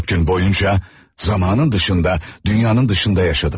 14 gün boyunca zamanın dışında dünyanın dışında yaşadım.